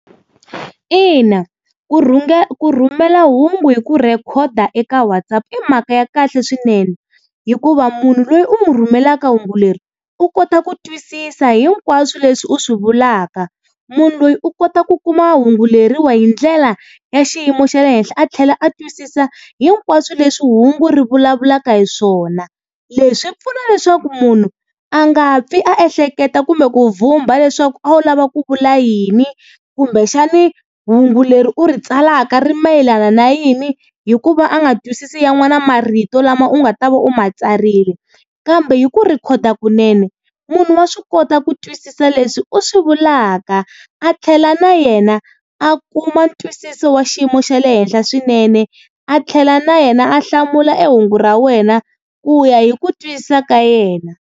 Ina ku rhumela hungu hi ku rhekhoda eka WhatsApp i mhaka ya kahle swinene, hikuva munhu loyi u mu rhumelaka hungu leri u kota ku twisisa hinkwaswo leswi u swi vulaka. Munhu loyi u kota ku kuma hungu leriwa hi ndlela ya xiyimo xa le henhla, a tlhela a twisisa hinkwaswo leswi hungu ri vulavulaka hi swona. Leswi pfuna leswaku munhu a nga pfi a ehleketa kumbe ku vumba leswaku a wu lava ku vula yini, kumbexani hungu leri u ri tsalaka ri mayelana na yini. Hikuva a nga twisisi yan'wana marito lama u nga ta va u ma tsarile. Kambe hi ku rhekhoda kunene munhu wa swi kota ku twisisa leswi u swi vulaka a tlhela, na yena a kuma ntwisiso wa xiyimo xa le henhla swinene a tlhela na yena a hlamula e hungu ra wena ku ya hi ku twisisa ka yena.